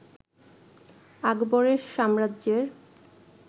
আকবরের সাম্রাজ্যের